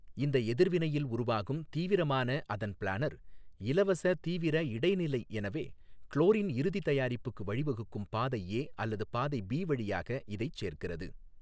இந்த எதிர்வினையில் உருவாகும் தீவிரமான அதன் பிளானர் இலவச தீவிர இடைநிலை எனவே குளோரின் இறுதி தயாரிப்புக்கு வழிவகுக்கும் பாதை ஏ அல்லது பாதை பி வழியாக இதைச் சேர்க்கிறது.